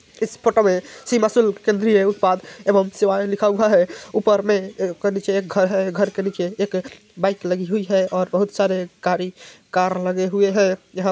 इस फोटो में सीमा शुल्क केंद्रीय उत्पाद एवं सेवायें लिखा हुआ है। ऊपर में ऊ नीचे एक घर है। घर के नीचे एक बाईक लगी हुई है और बहुत सारे गाड़ी कार लगे हुए हैं यहां ---